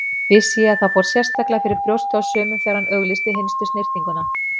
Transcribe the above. Vissi ég að það fór sérstaklega fyrir brjóstið á sumum þegar hann auglýsti hinstu snyrtinguna.